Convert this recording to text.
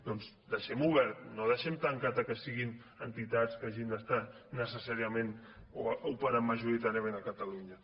doncs deixem ho obert no ho deixem tancat que siguin entitats que hagin d’estar necessàriament o majoritàriament a catalunya